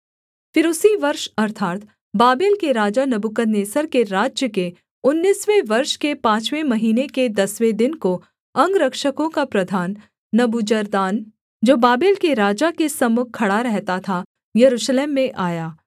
फिर उसी वर्ष अर्थात् बाबेल के राजा नबूकदनेस्सर के राज्य के उन्नीसवें वर्ष के पाँचवें महीने के दसवें दिन को अंगरक्षकों का प्रधान नबूजरदान जो बाबेल के राजा के सम्मुख खड़ा रहता था यरूशलेम में आया